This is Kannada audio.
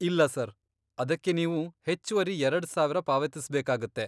ಇಲ್ಲ ಸರ್. ಅದಕ್ಕೆ ನೀವು ಹೆಚ್ಚುವರಿ ಎರಡ್ ಸಾವಿರ ಪಾವತಿಸ್ಬೇಕಾಗುತ್ತೆ.